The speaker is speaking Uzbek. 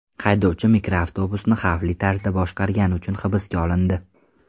Haydovchi mikroavtobusni xavfli tarzda boshqargani uchun hibsga olindi.